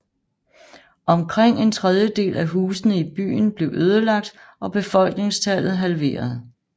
Omkring en tredjedel af husene i byen blev ødelagt og befolkningstallet halveret